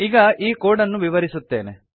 ಈಗ ಈ ಕೋಡ್ ಅನ್ನು ವಿವರಿಸುತ್ತೇನೆ